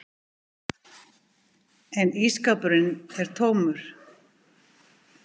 En ísskápurinn er tómur.